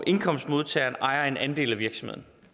indkomstmodtageren ejer en andel af virksomheden